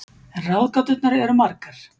En ráðgáturnar eru margar.